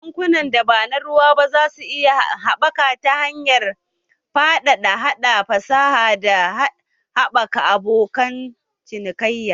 Bankunan da ba na ruwa ba za su iya haɓaka ta hanyar faɗaɗa haɗa fasaha, da haɓaka abokin cinikayya